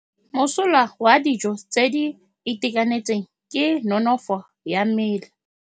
Mosola wa dijô tse di itekanetseng ke nonôfô ya mmele.